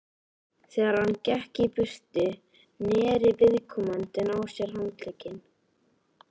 Þegar hann gekk burtu, neri viðkomandi á sér handlegginn.